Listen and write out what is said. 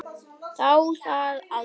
Sá það aldrei